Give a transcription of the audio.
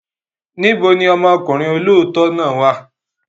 Níbo ni ọmọkùnrin olóòótọ́ náà wà?